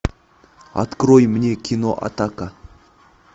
открой мне кино атака